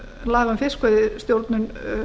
laga um fiskveiðistjórnun